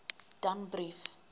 danbrief